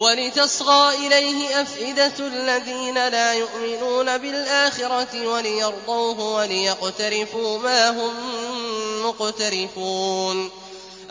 وَلِتَصْغَىٰ إِلَيْهِ أَفْئِدَةُ الَّذِينَ لَا يُؤْمِنُونَ بِالْآخِرَةِ وَلِيَرْضَوْهُ وَلِيَقْتَرِفُوا مَا هُم مُّقْتَرِفُونَ